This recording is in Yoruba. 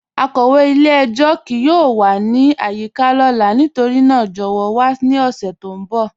Akọwe ilẹ̀-ẹ̀jọ kíì yọọ wà ni ayika lọla nítorína jọwọ wà ni ọṣẹ ti n bọ.